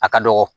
A ka dɔgɔ